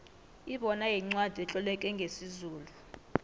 ibona yincwacli etloleke ngesizulu